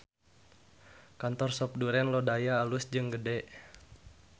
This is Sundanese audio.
Kantor Sop Duren Lodaya alus jeung gede